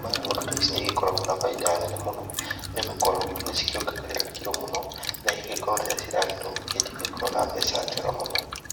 Ng'ondu ta ici nĩ igĩkoragwo na bainda mũno nĩ gũkorwo nĩ cikĩongagĩrĩra kirũ mũno, na igagĩkorwo rĩrĩa ciragĩtua gũkĩendio igagĩkorwo na mbeca mũno.